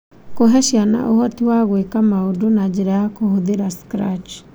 Kũhe ciana ũhoti wa gwĩka maũndũ na njĩra ya kũhũthĩra Scratch